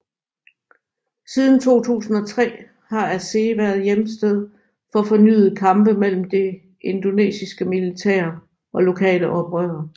Siden 2003 har Aceh været hjemsted for fornyede kampe mellem det indonesiske militær og lokale oprørere